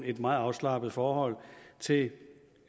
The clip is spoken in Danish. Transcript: et meget afslappet forhold til